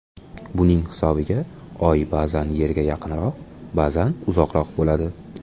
Buning hisobiga Oy ba’zan Yerga yaqinroq, ba’zan uzoqroq bo‘ladi.